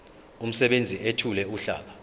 umsebenzi ethule uhlaka